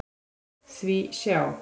Því sjá!